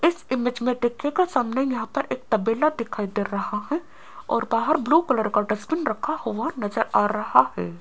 इस इमेज में देखने को सामने यहां पर एक तबेला दिखाई दे रहा है और बाहर ब्लू कलर का डस्टबिन रखा हुआ नजर आ रहा है।